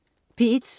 P1: